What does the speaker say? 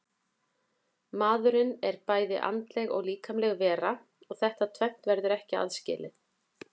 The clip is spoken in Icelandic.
Maðurinn er bæði andleg og líkamleg vera og þetta tvennt verður ekki aðskilið.